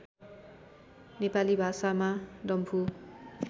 नेपाली भाषामा डम्फु